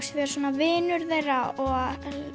vera svona vinur þeirra og